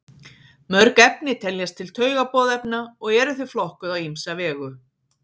Mörg efni teljast til taugaboðefna og eru þau flokkuð á ýmsa vegu.